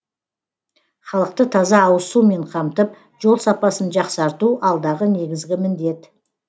халықты таза ауызсумен қамтып жол сапасын жақсарту алдағы негізгі міндет